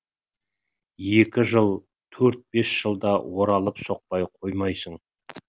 екі жыл төрт бес жылда оралып соқпай қоймайсың